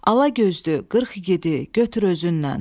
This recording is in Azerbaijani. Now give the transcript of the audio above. Alagözlü qırx igidi götür özünlə.